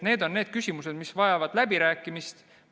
Need on küsimused, mis vajavad läbirääkimist.